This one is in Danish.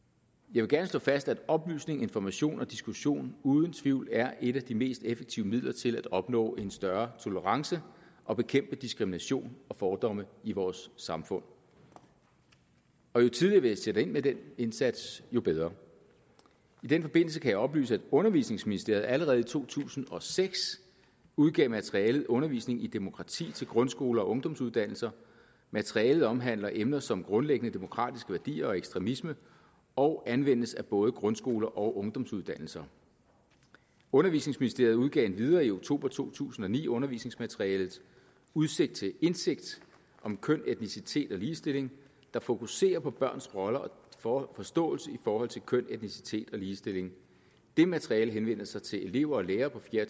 vil gerne slå fast at oplysning information og diskussion uden tvivl er et af de mest effektive midler til at opnå en større tolerance og bekæmpe diskrimination og fordomme i vores samfund jo tidligere vi sætter ind med den indsats jo bedre i den forbindelse kan jeg oplyse at undervisningsministeriet allerede i to tusind og seks udgav materialet undervisning i demokrati til grundskoler og ungdomsuddannelser materialet omhandler emner som grundlæggende demokratiske værdier og ekstremisme og anvendes af både grundskoler og ungdomsuddannelser undervisningsministeriet udgav endvidere i oktober to tusind og ni undervisningsmaterialet udsigt til indsigt om køn og etnicitet og ligestilling der fokuserer på børns roller og forståelse i forhold til køn etnicitet og ligestilling det materiale henvender sig til elever og lærere på fjerde